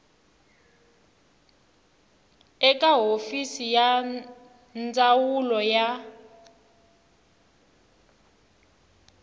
eka hofisi ya ndzawulo ya